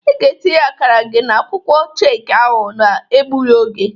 Ị ga-etinye akara gị n'akwụkwọ cheki ahụ n'egbụghi oge!